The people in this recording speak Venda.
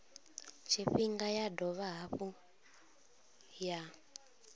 tshifhinga ya dovha hafhu ya